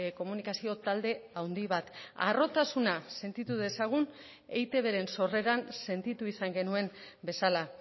komunikazio talde handi bat harrotasuna sentitu dezagun eitbren sorreran sentitu izan genuen bezala